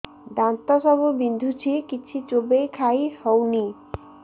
ଦାନ୍ତ ସବୁ ବିନ୍ଧୁଛି କିଛି ଚୋବେଇ ଖାଇ ହଉନି